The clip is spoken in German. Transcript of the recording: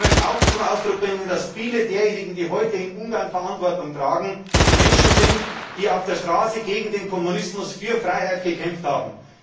Ich möchte auch zum Ausdruck bringen, dass viele, die heute in Ungarn Verantwortung tragen, Menschen sind, die auf der Straße gegen den Kommunismus und für die Freiheit gekämpft haben.